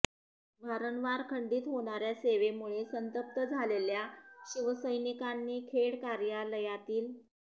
वारंवार खंडीत होणाऱ्या सेवेमुळे संतप्त झालेल्या शिवसैनिकांनी खेड कार्यालयातील